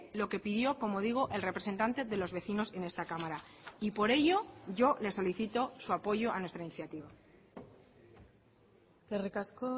lo que pidió como digo el representante de los vecinos en esta cámara y por ello yo les solicito su apoyo a nuestra iniciativa eskerrik asko